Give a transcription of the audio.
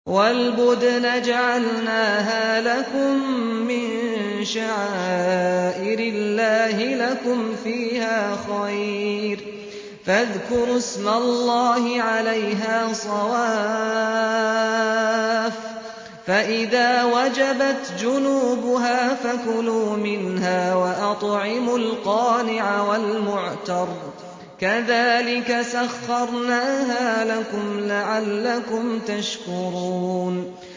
وَالْبُدْنَ جَعَلْنَاهَا لَكُم مِّن شَعَائِرِ اللَّهِ لَكُمْ فِيهَا خَيْرٌ ۖ فَاذْكُرُوا اسْمَ اللَّهِ عَلَيْهَا صَوَافَّ ۖ فَإِذَا وَجَبَتْ جُنُوبُهَا فَكُلُوا مِنْهَا وَأَطْعِمُوا الْقَانِعَ وَالْمُعْتَرَّ ۚ كَذَٰلِكَ سَخَّرْنَاهَا لَكُمْ لَعَلَّكُمْ تَشْكُرُونَ